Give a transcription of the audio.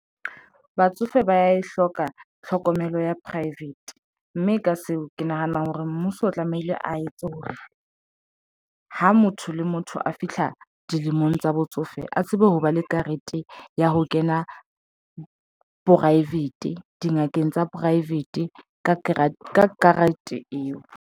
Batsofe ba ya e hloka tlhokomelo ya private mme ka seo ke nahana hore mmuso o tlamehile a etse hore ha motho le motho a fihla dilemong tsa botsofe, a tsebe ho ba le karete ya ho kena private dingakeng tsa private ka karete eo.